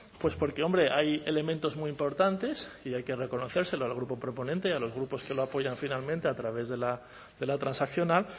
pues porque hombre hay elementos muy importantes y hay que reconocérselo al grupo proponente y a los grupos que lo apoyan finalmente a través de la transaccional